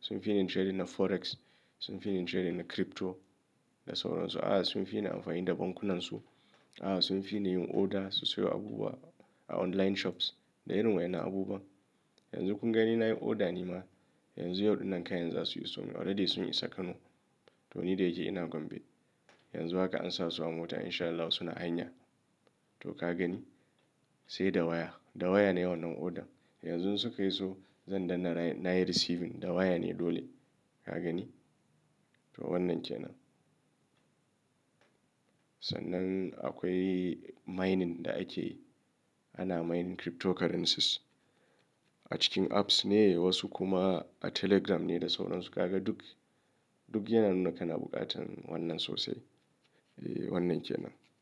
sun fi ni yin trading na forex, sun fi ni yin trading na crypto da sauran su. A sun fi ni amfani da bankunan su, a suna fi ni yin order sosai wa abubuwa a online shops da irin wayan na abubuwa. Yanzu kunga ni na yi order ne ma yanzu yau ɗin nan kayan za su iso already sun isa Kano. To ni da yake ina Gombe yanzu haka an sa su a mota in sha Allah suna hanya. To ka gani sai da waya, da waya ne wannan order. Yanzu suka iso zan danna na yi receiving da waya ne dole ka gani. To wannan ke nan. Sannan akwai mining da ake, ana mining cryptocurrencies a cikin apps ne wasu kuma a telegram ne da sauran su. Ka ga duk, duk yana nuna kana buƙatan wannan sosai. Eh wannan ke nan.